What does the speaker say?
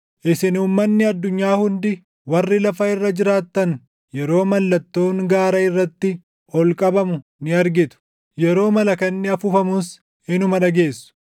Isin uummanni addunyaa hundi, warri lafa irra jiraattan yeroo mallattoon gaara irratti // ol qabamu ni argitu; yeroo malakanni afuufamus // inuma dhageessu.